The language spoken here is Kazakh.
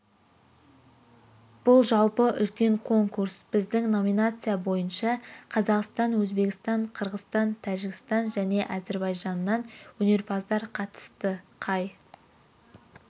бұл жалпы үлкен конкурс біздің номинация бойынша қазақстан өзбекстан қырғызстан тәжікстан және азербайжаннан өнерпаздар қатысты қай